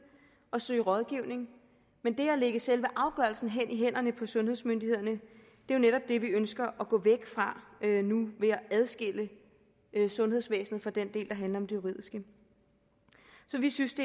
og søge rådgivning men det at lægge selve afgørelsen i hænderne på sundhedsmyndighederne er jo netop det vi ønsker at gå væk fra nu ved at adskille sundhedsvæsenet fra den del der handler om det juridiske så vi synes